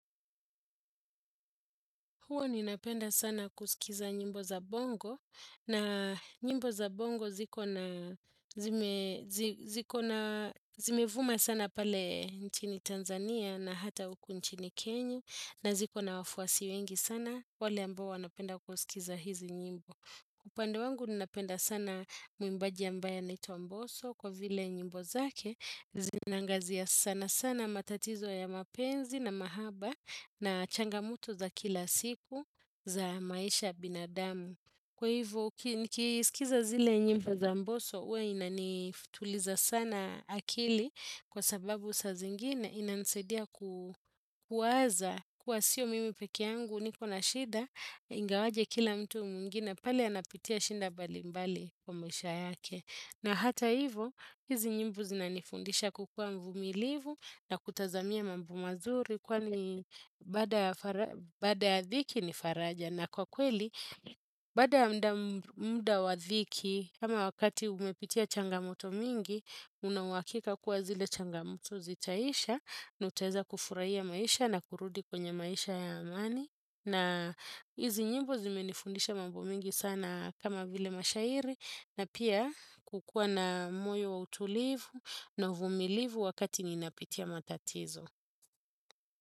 Huwa ni napenda sana kusikiza nyimbo za bongo na nyimbo za bongo ziko na ziko na zimevuma sana pale nchini Tanzania na hata uku nchini Kenya na ziko na wafuasi wengi sana wale ambao wanapenda kusikiza hizi nyimbo. Kwa pande wangu ninapenda sana mwimbaji ambaye anaitwa Mboso kwa vile nyimbo zake zinaangazia sana sana matatizo ya mapenzi na mahaba na changamoto za kila siku za maisha binadamu. Kwa hivyo, nikisikiza zile nyimbo za mboso, huwa inanituliza sana akili kwa sababu sa zingine inansaidia kuwaza kuwa sio mimi peke yangu niko na shida ingawaje kila mtu mwingine pali anapitia shinda mbali mbali kwa maisha yake. Na hata hivo, hizi nyimbo zinanifundisha kukuwa mvumilivu na kutazamia mambo mazuri kwani baada ya dhiki ni faraja. Na kwa kweli, baada muda wa dhiki, kama wakati umepitia changamoto mingi, unauhakika kuwa zile changamoto zitaisha, na utaweza kufurahia maisha na kurudi kwenye maisha ya amani. Na hizi nyimbo zimenifundisha mambo mengi sana kama vile mashairi na pia kukuwa na moyo wa utulivu na uvumilivu wakati ninapitia matatizo.